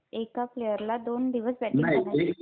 एका प्लेयरला दोन दिवस बॅटिंग करण्याचे